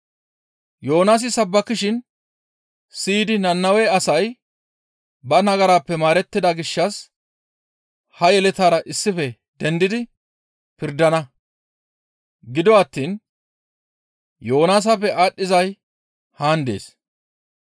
Yoonaasi sabbakishin siyidi Nannawe asay ba nagarappe maarettida gishshas ha yeletara issife dendidi pirdana; gido attiin Yoonaasappe aadhdhizay haan dees.